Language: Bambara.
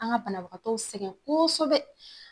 An ka banabagatɔw sɛgɛn koosɛbɛ